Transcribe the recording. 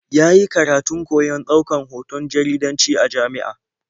Ya yi karatun koyon ɗaukan hoton jaridanci a jami'a.